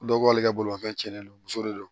Dɔw b'ale ka bolimafɛn cɛnnen don muso de don